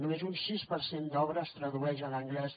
només un sis per cent d’obra es tradueix a l’anglès